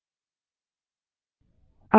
अब enter दबायें